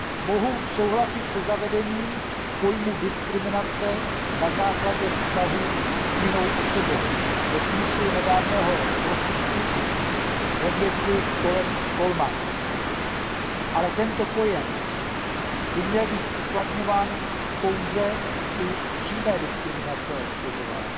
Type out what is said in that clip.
Mohu souhlasit se zavedením pojmu diskriminace na základě vztahů s jinou osobou ve smyslu nedávného rozsudku ve věci Coleman, ale tento pojem by měl být uplatňován pouze u přímé diskriminace a obtěžování.